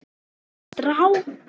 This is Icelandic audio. er engu meiri en strá.